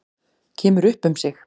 Kemur upp um sig.